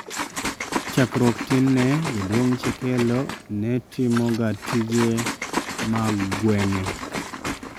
Chackruok tin ne, jaduong' chekelo netimo ga tije mag gweng'e